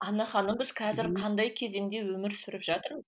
анна ханым біз қазіргі қандай кезеңде өмір сүріп